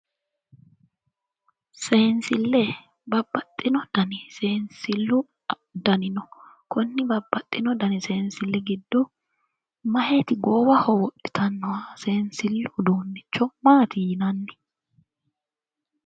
Seensille babbaxitino dani seensilli afamanno konni babbaxitino seensilli dani giddo meyaati goowaho wodhitannoha seensillu uduunnicho maati yinanni?